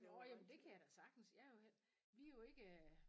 Nåh jamen det kan jeg da sagtens jeg er jo hel vi er jo ikke